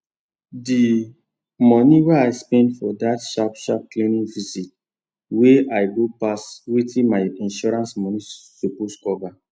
d moni wey i spend for that sharp sharp clinic visit wey i go pass wetin my insurance moni suppose cover